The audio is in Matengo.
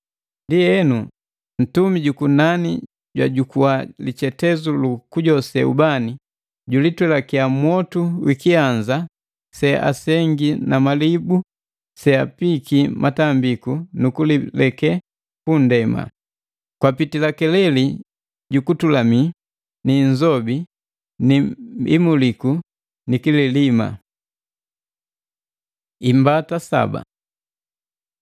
Ndienu, ntumi jukunani jwajukua lichetezu lu kujose ubani, julitwelakia mwotu wa wi kianza seasengi na malibu seapiiki matambi nukulileke pu nndema. Kwapitila keleli ju kutulami ni inzobi ni imuliku ni kililima. Imbata saba